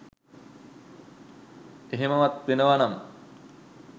එහෙමවත් වෙනවා නම්